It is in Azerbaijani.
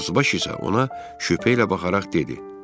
Dazbaş isə ona şübhə ilə baxaraq dedi: